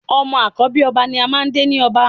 Ọmọ àkọ́bí ọba ni a máà ń dé ni ọba